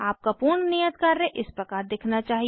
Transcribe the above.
आपका पूर्ण नियत कार्य इस प्रकार दिखना चाहिए